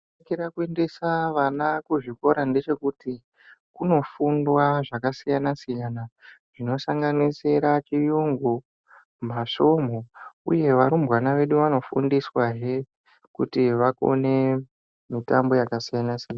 Chakanakira kuendesa vana kuzvikora ngechekuti kunofundwa zvakasiyana siyana zvinosanganisira chiyungu masvomhu uye varumbwana vedu vanofundiswahe kuti vakone mitambo yakasiyana siyana.